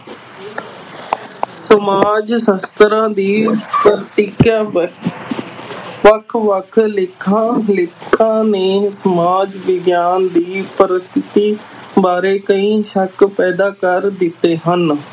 ਸਮਾਜ ਸ਼ਾਸਤਰਾਂ ਦੀ ਵੱਖ ਵੱਖ ਲੇਖਾਂ ਲਿਖਤਾਂ ਨੇ ਸਮਾਜ ਵਿਗਿਆਨ ਦੀ ਪਰਸਥਿੱਤੀ ਬਾਰੇ ਕਈ ਸ਼ੱਕ ਪੈਦਾ ਕਰ ਦਿੱਤੇ ਹਨ।